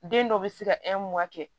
Den dɔ bɛ se ka kɛ